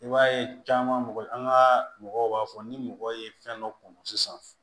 I b'a ye caman an ka mɔgɔw b'a fɔ ni mɔgɔ ye fɛn dɔ kunun sisan